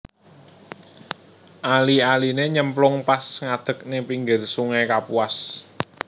Ali aline nyemplung pas ngadeg ning pinggir sungai Kapuas